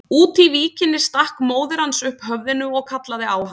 Úti í víkinni stakk móðir hans upp höfðinu og kallaði á hann.